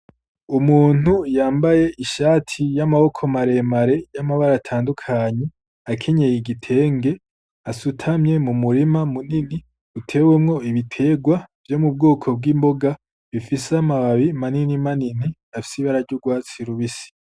Umuntu yambaye ishati y'amaboko maremare y'amabara atandukanye, akenyeye igitenge, asutamye mu murima munini utewemwo ibiterwa vyo mu bwoko bw'imboga bifise amababi manini manini afise ibara ry'urwatsi rubisi.